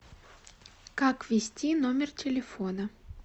как ввести номер телефона